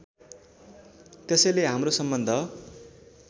त्यसैले हाम्रो सम्बन्ध